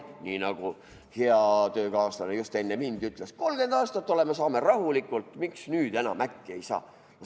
Nii nagu hea töökaaslane just enne mind ütles: 30 aastat oleme rahulikult hakkama saanud, miks nüüd enam äkki ei saa?